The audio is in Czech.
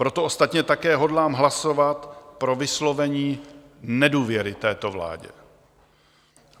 Proto ostatně také hodlám hlasovat pro vyslovení nedůvěry této vládě.